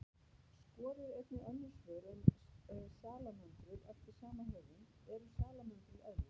Skoðið einnig önnur svör um salamöndrur eftir sama höfund: Eru salamöndrur eðlur?